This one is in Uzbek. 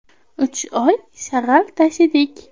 Uch oy shag‘al tashidik.